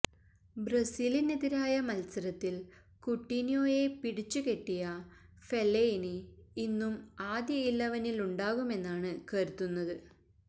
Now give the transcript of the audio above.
ബ്രസീലിനെതിരായ മത്സരത്തിൽ കുട്ടിന്യോയെ പിടിച്ചുെകെട്ടിയ ഫെല്ലെയിനി ഇന്നും ആദ്യ ഇലവനിലുണ്ടാകുമെന്നാണ് കരുതുന്നത്